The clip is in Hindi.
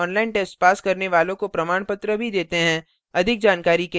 online test pass करने वालों को प्रमाणपत्र भी देते हैं